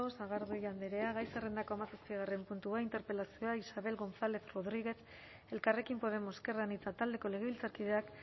sagardui andrea gai zerrendako hamazazpigarren puntua interpelazioa isabel gonzález rodríguez elkarrekin podemos ezker anitza taldeko legebiltzarkideak